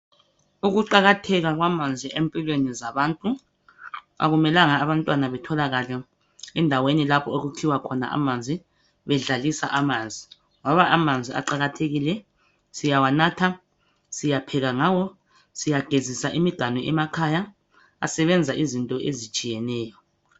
ukuqakatheka kwamanzi empilweni zabantu akumelanga abantwana betholakale endaweni lapho okukhiwa khona amanzi bedlalisa amanzi ngoba amanzi aqakathekile siyawanatha siyapheka ngawo siyagezisa imiganu emakhaya asebenza izinto ezitshiyeneyo